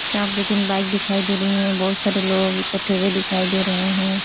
चाप दो तीन बाइक दिखाई दे रही है। बहोत सारे लोग इकट्ठे हुए दिखाई दे रहे हैं।